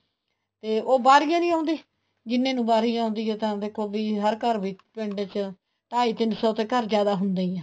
ਤੇ ਉਹ ਬਾਹਰ ਕਿਉ ਨਹੀਂ ਆਉਦੇ ਜਿਹਨੇ ਨੂੰ ਵਾਰੀ ਆਉਦੀ ਹੈ ਤਾਂ ਦੇਖੋ ਵੀ ਹਰ ਘਰ ਵਿੱਚ ਪਿੰਡ ਚ ਢਾਈ ਤਿੰਨ ਸੋ ਤੇ ਘਰ ਜਿਆਦਾ ਹੁੰਦੇ ਹੀ ਹੈ